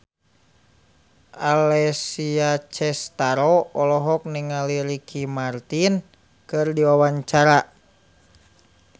Alessia Cestaro olohok ningali Ricky Martin keur diwawancara